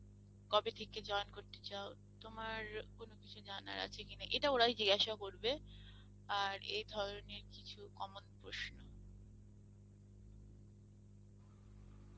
কবে থেকে জিন করতে চাও, তোমার কোনো কিছু জানার আছে কি না, ইটা ওরাই জিজ্ঞাসা করবে আর এধরনের কিছু common প্রশ্ন